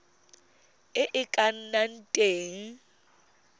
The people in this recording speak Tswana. e e ka nnang teng